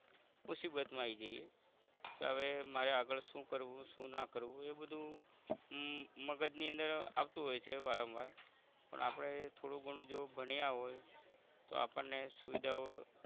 મુસીબત મા આવી જઇયે કે આવે મારે આગળ શુ કરવું શુ ના કરવું એ બધુ ઉહ મગજ ની અંદર આવતુ હોય છે વારમ વાર પણ આપણે થોડું ઘણું જો ભણીયા હોય તો આપણ ને સુવિધાઓ